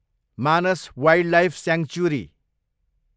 Manas wildlife sanctuary